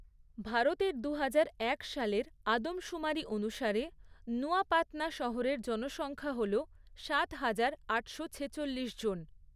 ভারতের দুহাজার এক সালের আদমশুমারি অনুসারে নুয়াপাতনা শহরের জনসংখ্যা হল সাত হাজার আটশো ছেচল্লিশজন।